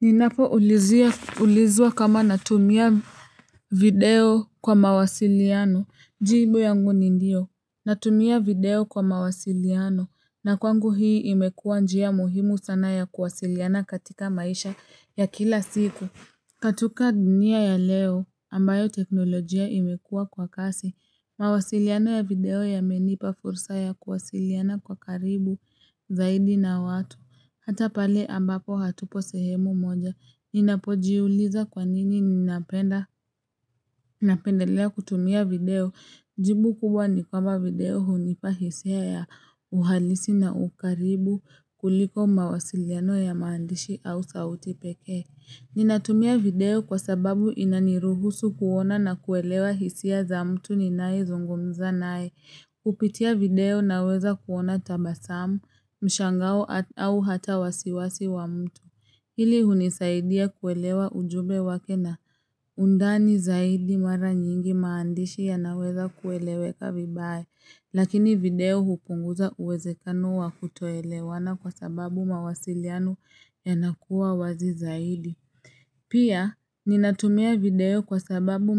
Ninapoulizia ulizwa kama natumia video kwa mawasiliano, jibu yangu ni ndio, natumia video kwa mawasiliano, na kwangu hii imekuwa njia muhimu sana ya kuwasiliana katika maisha ya kila siku. Katika dunia ya leo ambayo teknolojia imekuwa kwa kasi. Mawasiliano ya video yamenipa fursa ya kuwasiliana kwa karibu zaidi na watu. Hata pale ambapo hatupo sehemu moja. Ninapojiuliza kwanini ninapenda napendelea kutumia video. Jibu kubwa ni kwamba video hunipa hisia ya uhalisi na ukaribu kuliko mawasiliano ya maandishi au sauti peke. Ninatumia video kwa sababu inaniruhusu kuona na kuelewa hisia za mtu ninayezungumza naye. Kupitia video naweza kuona tabasamu, mshangao au hata wasiwasi wa mtu. Hili hunisaidia kuelewa ujumbe wake na undani zaidi mara nyingi maandishi yanaweza kueleweka vibaya. Lakini video hupunguza uwezekano wa kutoelewana kwa sababu mawasiliano yanakuwa wazi zaidi. Pia, ninatumia video kwa sababu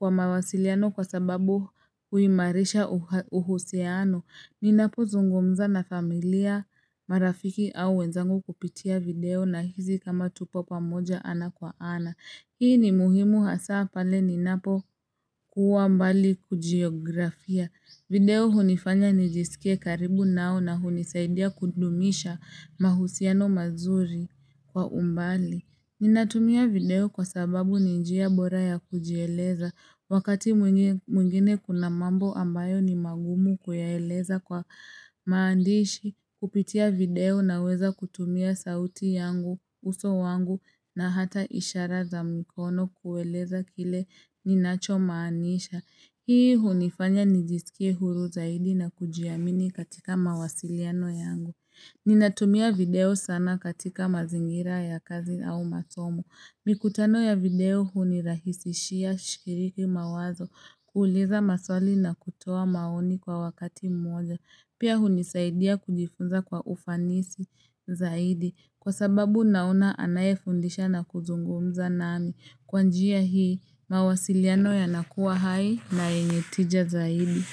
mawasiliano kwa sababu huimarisha uhusiano. Ninapozungumza na familia, marafiki au wenzangu kupitia video nahisi kama tupo pamoja ana kwa ana. Hii ni muhimu hasa pale ninapokuwa mbali kujiografia. Video hunifanya nijisikie karibu nao na hunisaidia kudumisha mahusiano mazuri kwa umbali. Ninatumia video kwa sababu ni njia bora ya kujieleza wakati mwingine kuna mambo ambayo ni magumu kuyaeleza kwa maandishi, kupitia video naweza kutumia sauti yangu, uso wangu na hata ishara za mikono kueleza kile ninachomaanisha. Hii hunifanya nijisikie huru zaidi na kujiamini katika mawasiliano yangu Ninatumia video sana katika mazingira ya kazi au masomo mikutano ya video hunirahisishia shikiriki mawazo kuuliza maswali na kutoa maoni kwa wakati mmoja Pia hunisaidia kujifunza kwa ufanisi zaidi Kwa sababu naona anayefundisha na kuzungumza nami kwa njia hii, mawasiliano yanakuwa hai na yenye tija zaidi.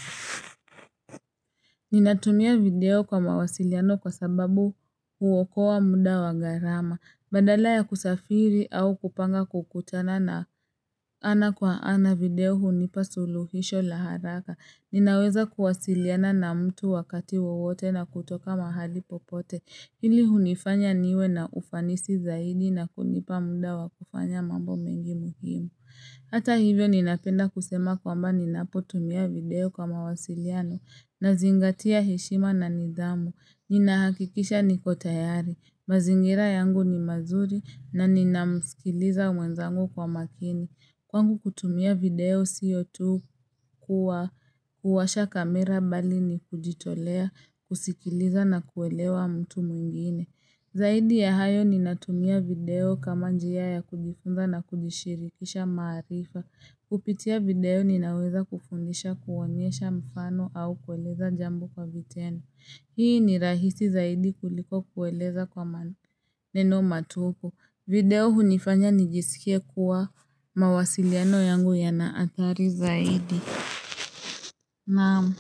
Ninatumia video kwa mawasiliano kwa sababu huokoa muda wa gharama. Badala ya kusafiri au kupanga kukutana na ana kwa ana video hunipa suluhisho la haraka. Ninaweza kuwasiliana na mtu wakati wowote na kutoka mahali popote. Hili hunifanya niwe na ufanisi zaidi na kunipa muda wa kufanya mambo mengi muhimu. Hata hivyo ninapenda kusema kwamba ninapotumia video kwa mawasiliano nazingatia heshima na nidhamu. Ninahakikisha niko tayari. Mazingira yangu ni mazuri na ninamsikiliza mwenzangu kwa makini. Kwangu kutumia video sio tu kuwa kuwasha kamera bali ni kujitolea, kusikiliza na kuelewa mtu mwingine. Zaidi ya hayo ninatumia video kama njia ya kujifunza na kujishirikisha maarifa. Kupitia video ninaweza kufundisha kuonyesha mfano au kueleza jambo kwa vitendo. Hii ni rahisi zaidi kuliko kueleza kwa maneno matupu video hunifanya nijisikie kuwa mawasiliano yangu yana athari zaidi. Naam,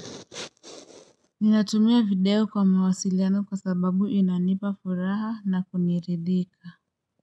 ninatumia video kwa mawasiliano kwa sababu inanipa furaha na kuniridhika.